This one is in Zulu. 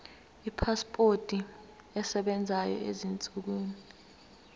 ipasipoti esebenzayo ezinsukwini